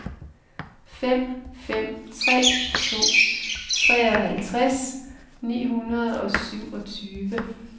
fem fem tre to treoghalvtreds ni hundrede og syvogtyve